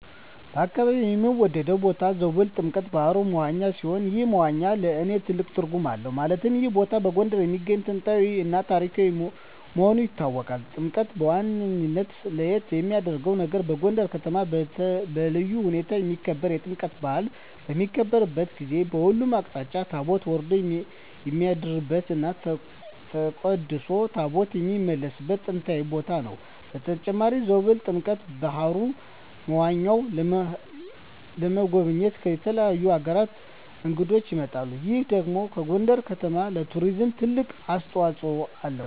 በአካባቢየ የምወደው ቦታ ዞብል ጥምቀተ ባህሩ (መዋኛ) ሲሆን ይህ መዋኛ ለእኔ ትልቅ ትርጉም አለው ማለትም ይህ ቦታ በጎንደር የሚገኝ ጥንታዊ እና ታሪካዊ መሆኑ ይታወቃል። ጥምቀተ መዋኛው ለየት የሚያረገው ነገር በጎንደር ከተማ በልዩ ሁኔታ የሚከበረው የጥምቀት በአል በሚከበርበት ጊዜ በሁሉም አቅጣጫ ታቦት ወርዶ የሚያድርበት እና ተቀድሶ ታቦታት የሚመለስበት ጥንታዊ ቦታ ነው። በተጨማሪም ዞብል ጥምቀተ በሀሩ (መዋኛው) ለመጎብኘት ከተለያዩ አገራት እንግዶች ይመጣሉ ይህ ደግሞ ለጎንደር ከተማ ለቱሪዝም ትልቅ አስተዋጽኦ አለው።